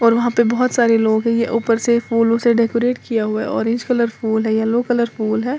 और वहां पे बोहोत सारे लोग हैं। ये ऊपर से फूलों से डेकोरेट किया हुआ है। ऑरेंज कलर फूल है येलो कलर फुल है।